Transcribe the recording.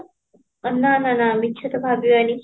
ନାଁ ନାଁ ମିଛ ତ ଭାବିବାନି